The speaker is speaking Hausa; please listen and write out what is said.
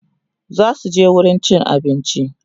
zasuje wurin cin abinci